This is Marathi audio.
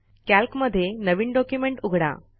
कॅल्कमध्ये नवीन डॉक्युमेंट उघडा